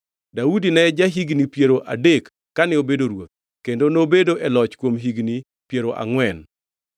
Daudi ne ja-higni piero adek kane obedo ruoth, kendo nobedo e loch kuom higni piero angʼwen.